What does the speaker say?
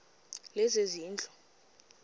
lezezindlu